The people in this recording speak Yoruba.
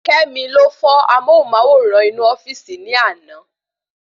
Kemi ló fọ́ amóhùnmáwòrán inú ofíìsì ni àná